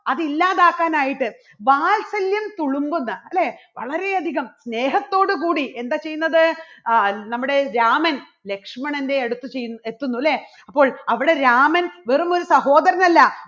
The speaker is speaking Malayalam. അത് ഇല്ലാതാക്കാൻ ആയിട്ട് വാത്സല്യം തുളുമ്പുന്ന അല്ലേ വളരെ അധികം സ്നേഹത്തോടുകൂടി എന്താ ചെയ്യുന്നത് അഹ് നമ്മുടെ രാമൻ ലക്ഷ്മണന്റെ അടുത്ത് എത്തുന്നു അല്ലേ അപ്പോൾ അവിടെ രാമൻ വെറുമൊരു സഹോദരനല്ല.